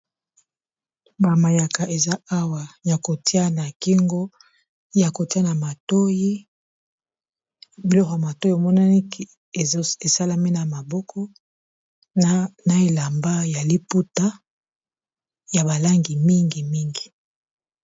Ba mayaka eza awa ya kotia na kingo ya kotia na matoyi biloko ya matoyi emonani esalami na maboko na elamba ya liputa ya balangi mingi mingi.